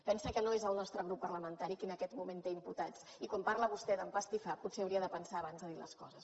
pensi que no és el nostre grup parlamentari qui en aquest moment té imputats i quan parla vostè d’ empastifar potser hauria de pensar s’hi abans de dir les coses